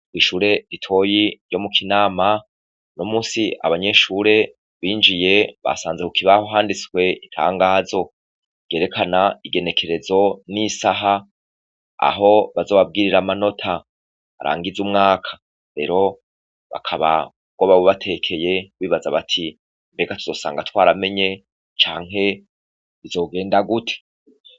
Kw'ishure ritoyi ryo mu kinama no musi abanyeshure binjiye basanze ku kibaho handitswe itangazo gerekana igenekerezo n'isaha aho bazobabwirira manota arangize umwaka rero bakaba go babubatekeye kbibaza bati ega tuzosanga twaramenye canke izogenda guti.